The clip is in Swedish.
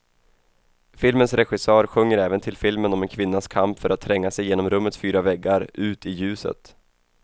Filmens regissör sjunger även till filmen om en kvinnas kamp för att tränga sig genom rummets fyra väggar, ut, i ljuset.